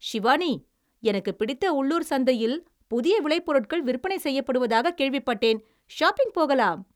“சிவானி, எனக்குப் பிடித்த உள்ளூர் சந்தையில் புதிய விளைபொருட்கள் விற்பனை செய்யப்படுவதாகக் கேள்விப்பட்டேன், ஷாப்பிங் போகலாம்."